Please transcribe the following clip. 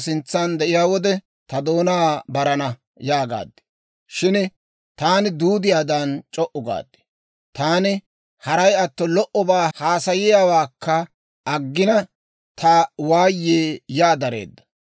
Shin taani duudiyaadan c'o"u gaad; taani haray atto lo"obaa haasayiyaawaakka aggina, Ta waayii yaa dareedda.